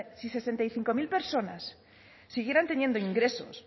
si sesenta y cinco mil personas siguieran teniendo ingresos